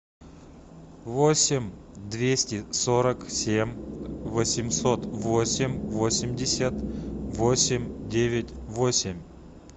восемь двести сорок семь восемьсот восемь восемьдесят восемь девять восемь